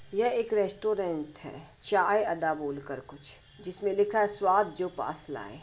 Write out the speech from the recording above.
यह एक रेस्ट्रोरेंट है चाय अदा बोलकर कुछ जिसमें लिखा है स्वाद जो पास लाये।